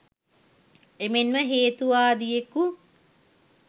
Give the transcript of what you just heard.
එමෙන්ම හේතුවාදියෙකු